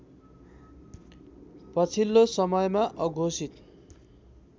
पछिल्लो समयमा अघोषित